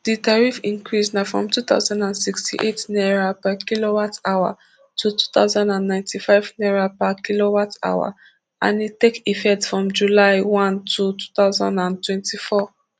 di tariff increase na from two thousand and sixty-eight naira per kilowatt hour to two thousand and ninety-five naira per kilowatt hour and e take effect from july one two thousand and twenty-four